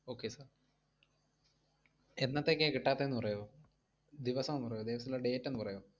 okay sir എന്നത്തേയ്ക്കയാ കിട്ടാത്തേന്നു പറയോ, ദിവസം ഒന്ന് പറയോ, ദിവസല്ലാ date ഒന്ന് പറയോ?